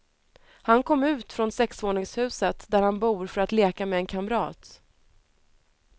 Han kom ut från sexvåningshuset där han bor för att leka med en kamrat.